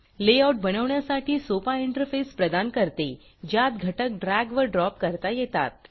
layout बनवण्यासाठी सोपा interface प्रदान करते ज्यात घटक ड्रॅग व ड्रॉप करता येतात